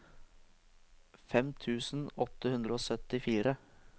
fem tusen åtte hundre og syttifire